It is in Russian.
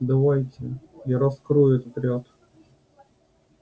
давайте я раскрою этот ряд